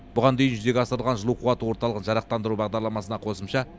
бұған дейін жүзеге асырылып жылу қуат орталығын жарықтандыру бағдарламасына қосымша